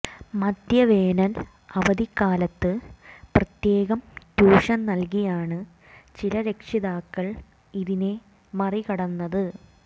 മധ്യവേനൽ അവധിക്കാലത്ത് പ്രത്യേകം ട്യൂഷൻ നൽകിയാണ് ചില രക്ഷിതാക്കൾ ഇതിനെ മറികടന്നത്